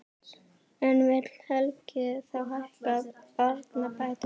En vill Helgi þá hækka barnabætur?